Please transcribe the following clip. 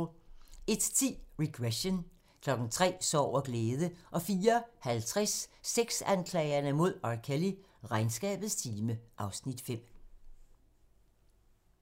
01:10: Regression 03:00: Sorg og glæde 04:50: Sexanklagerne mod R. Kelly: Regnskabets time (Afs. 5)